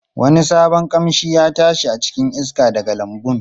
Wani sabon kamshi ya tashi a cikin iska daga lambun.